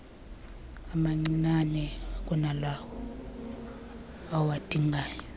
amancinnane kunalawo awadingayo